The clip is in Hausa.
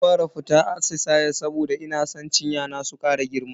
Zan fara fita atisaye saboda ina san cinya na su kara girma.